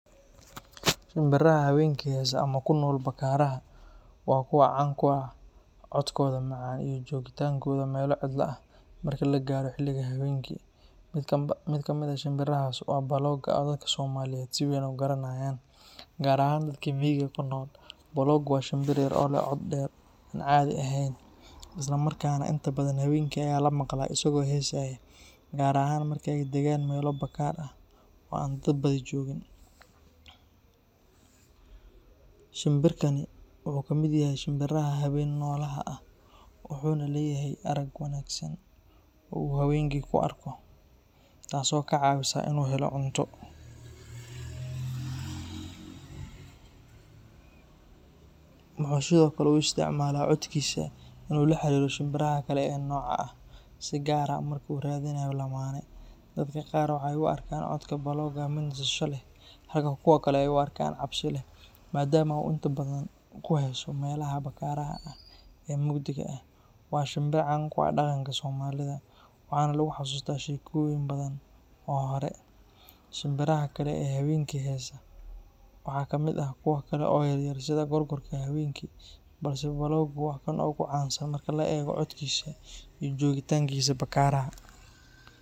Shimbiraha habeenkii heesa ama ku nool bakaaraha waa kuwo caan ku ah codkooda macaan iyo joogitaankooda meelo cidlo ah marka la gaaro xilliga habeenkii. Mid kamid ah shimbirahaas waa baloogga, oo dadka Soomaaliyeed si weyn u garanayaan, gaar ahaan dadka miyiga ku nool. Balooggu waa shimbir yar oo leh cod dheer oo aan caadi ahayn, isla markaana inta badan habeenkii ayaa la maqlaa isagoo heesaya, gaar ahaan marka ay degaan meelo bakaar ah oo aan dad badani joogin. Shimbirkan wuxuu ka mid yahay shimbiraha habeen-nolaha ah, wuxuuna leeyahay arag wanaagsan oo uu habeenkii ku arko, taasoo ka caawisa in uu helo cunto. Wuxuu sidoo kale u isticmaalaa codkiisa in uu la xiriiro shimbiraha kale ee la nooca ah, si gaar ah marka uu raadinayo lamaane. Dadka qaar waxay u arkaan codka baloogga mid nasasho leh, halka kuwa kalena ay u arkaan cabsi leh, maadaama uu inta badan ku heeso meelaha bakaaraha ah ee mugdiga ah. Waa shimbir caan ku ah dhaqanka Soomaalida, waxaana lagu xasuustaa sheekooyin badan oo hore. Shimbiraha kale ee habeenkii heesa waxaa kamid ah kuwo kale oo yaryar sida gorgorka habeenkii, balse balooggu waa kan ugu caansan marka la eego codkiisa iyo joogitaankiisa bakaaraha.